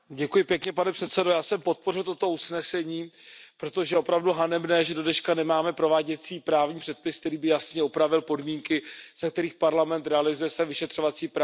Pane předsedající, já jsem podpořil toto usnesení, protože je opravdu hanebné, že do dneška nemáme prováděcí právní předpis, který by jasně upravil podmínky, za kterých Evropský parlament realizuje své vyšetřovací právo.